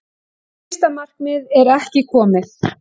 Fyrsta markmið er ekki komið